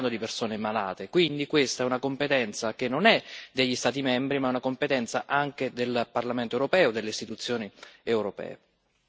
Non stiamo parlando di persone malate, quindi questa è una competenza che non è degli Stati membri ma è una competenza anche del Parlamento europeo e delle istituzioni europee.